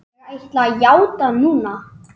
Ég ætla að játa núna.